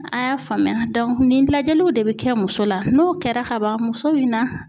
A y'a faamuya nin lajɛliw de bɛ kɛ muso la n'o kɛra kaban muso bi na.